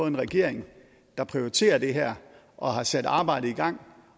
en regering der prioriterer det her og har sat arbejdet i gang